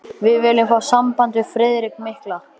Við viljum fá samband við Friðrik mikla.